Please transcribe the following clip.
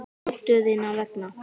Dóttur þinnar vegna.